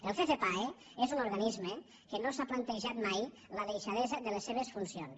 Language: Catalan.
el ccpae és un organisme que no s’ha plantejat mai la deixadesa de les seves funcions